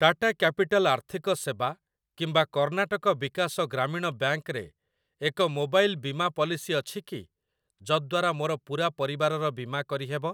Tata Capital ଆର୍ଥିକ ସେବା କିମ୍ବା କର୍ଣ୍ଣାଟକ ବିକାଶ ଗ୍ରାମୀଣ ବ୍ୟାଙ୍କ୍‌ ରେ ଏକ ମୋବାଇଲ୍ ବୀମା ପଲିସି ଅଛିକି, ଯଦ୍ଵାରା ମୋର ପୂରା ପରିବାରର ବୀମା କରିହେବ?